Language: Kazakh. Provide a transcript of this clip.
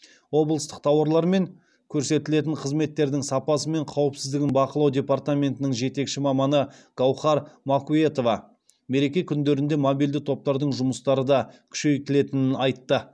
облыстық тауарлар мен көрсетілетін қызметтердің сапасы мен қауіпсіздігін бақылау департаментінің жетекші маманы гауһар макуетова мереке күндерінде мобильді топтардың жұмыстары да күшейтілетінін айтты